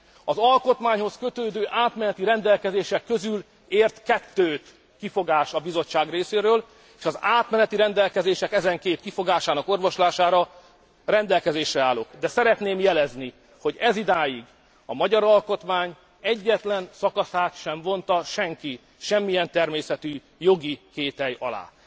Az alkotmányhoz kötődő átmeneti rendelkezések közül ért kettőt kifogás a Bizottság részéről, és az átmeneti rendelkezések ezen két kifogásának orvoslására rendelkezésre állok, de szeretném jelezni, hogy ezidáig a magyar alkotmány egyetlen szakaszát sem vonta senki, semmilyen természetű jogi kétely alá.